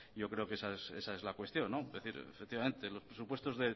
yo creo que esa es la cuestión no es decir efectivamente los presupuestos